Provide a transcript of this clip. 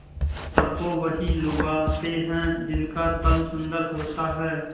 सबको वही लुभाते हैं जिनका तन सुंदर होता है